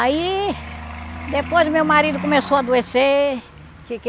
Aí, depois meu marido começou a adoecer. Que que